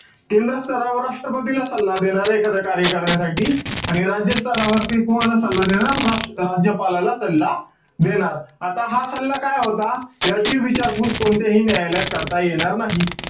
केंद्र स्तरावर राष्ट्रपतीला सल्ला देणारं एखाद कार्य करण्यासाठी. आणि राज्य स्तरावरती कोणाला सल्ला देणार? त राज्यपालाला सल्ला देणार. आता हा सल्ला काय होता, याची विचारपूस कोणत्याही न्यायालयात करता येणार नाही.